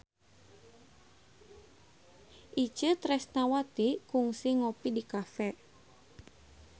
Itje Tresnawati kungsi ngopi di cafe